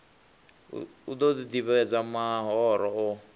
u ḓo ḓivhadza mahoro o